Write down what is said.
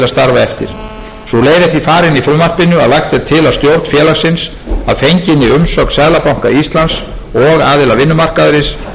eftir sú leið er því farin í frumvarpinu að lagt er til að stjórn félagsins að fenginni umsögn seðlabanka íslands og aðila vinnumarkaðarins geri tillögu til